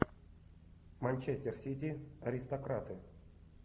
манчестер сити аристократы